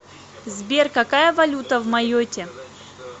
сбер какая валюта в майотте